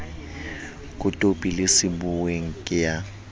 kotopi le sebuweng ke ya